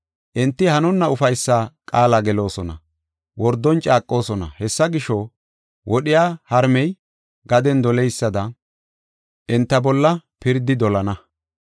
Enti hanonna ufaysa qaala geloosona; wordon caaqoosona; Hessa gisho, wodhiya harmey gaden doleysada enta bolla pirdi dolana.